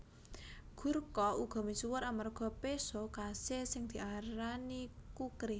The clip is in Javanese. Gurkha uga misuwur amarga péso khasé sing diarani kukri